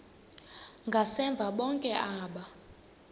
ngasemva bonke aba